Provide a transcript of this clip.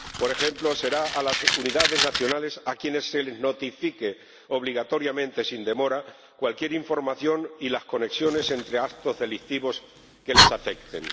Por ejemplo, será a las unidades nacionales a quienes se les notifique obligatoriamente sin demora cualquier información y las conexiones entre actos delictivos que les afecten.